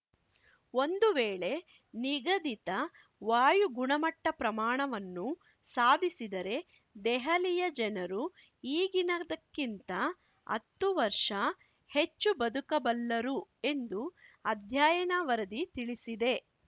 ಒಂದು ವೇಳೆ ನಿಗದಿತ ವಾಯು ಗುಣಮಟ್ಟಪ್ರಮಾಣವನ್ನು ಸಾಧಿಸಿದರೆ ದೆಹಲಿಯ ಜನರು ಈಗಿನದಕ್ಕಿಂತ ಹತ್ತು ವರ್ಷ ಹೆಚ್ಚು ಬದುಕಬಲ್ಲರು ಎಂದು ಅಧ್ಯಯನ ವರದಿ ತಿಳಿಸಿದೆ